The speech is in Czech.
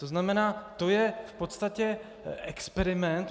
To znamená, to je v podstatě experiment.